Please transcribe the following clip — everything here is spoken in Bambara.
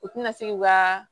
U tɛna se k'u ka